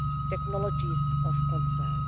technologies of concern.